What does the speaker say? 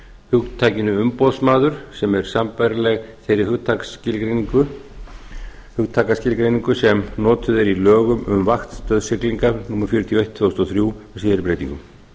hugtakinu umboðsmaður sem er sambærileg þeirri hugtakaskilgreiningu sem notuð er í lögum um vaktstöð siglinga númer fjörutíu og eitt tvö þúsund og þrjú með síðari breytingum